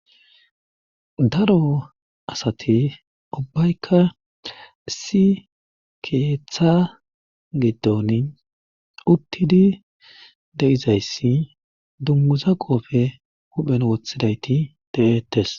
Daro asate ubbaykka si keeththa giddon uttidi deizayssi dummuza qoofe huphen wothidayti de'ettes